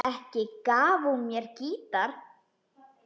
Ekki gaf hún mér gítar.